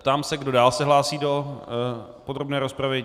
Ptám se, kdo dál se hlásí do podrobné rozpravy.